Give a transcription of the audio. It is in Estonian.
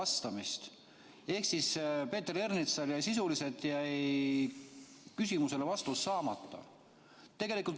Teisisõnu, Peeter Ernitsal jäi küsimusele sisuliselt vastus saamata.